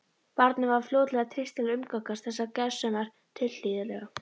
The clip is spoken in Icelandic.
Barninu var fljótlega treyst til að umgangast þessar gersemar tilhlýðilega.